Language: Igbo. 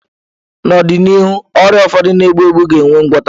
N'ọdịnihu, ọrịa ụfọdụ na-egbu egbu ga enwe ngwota.